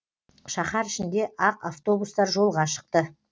шаһар ішінде ақ автобустар жолға шықты